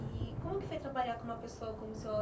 E como que foi trabalhar com uma pessoa como o Sr.